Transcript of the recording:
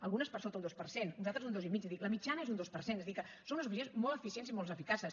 algunes per sota un dos per cent unes altres un dos i mig la mitjana és un dos per cent és a dir que són unes oficines molt eficients i molt eficaces